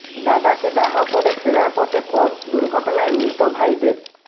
দাদাকে দাহ করে ফেরার পথে পথ দুর্ঘটনায় মৃত ভাইদের